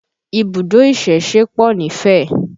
Ibùdó ìsẹ̀se pọ̀ nífẹ̀